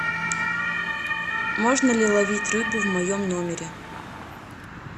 можно ли ловить рыбу в моем номере